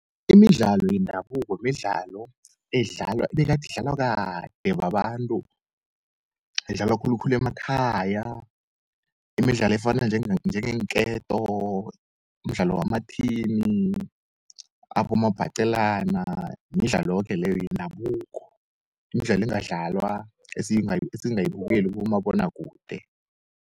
Imidlalo yendabuko midlalo ebegadi idlalwa kade babantu, edlalwa khulukhulu emakhaya. Imidlalo efana njengeenketo, umdlalo wamathini, abomabhaqelana, midlalo yoke leyoyendabuko, mdlalo engadlalwa esingayibukeli kubomabonakude.